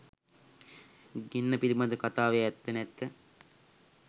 ගින්න පිලිබඳ කතාවේ ඇත්ත නැත්ත